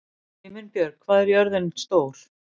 Himinbjörg, hvað er jörðin stór?